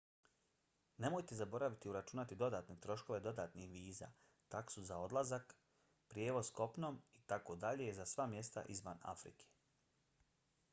nemojte zaboraviti uračunati dodatne troškove dodatnih viza taksu na odlazak prijevoz kopnom itd. za sva mjesta izvan afrike